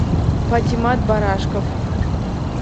патимат барашков